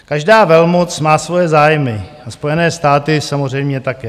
Každá velmoc má svoje zájmy a Spojené státy samozřejmě také.